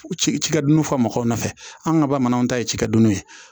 Cikɛdunw fɔ mɔgɔw nɔfɛ an ka bamananw ta ye cikɛ dunnun ye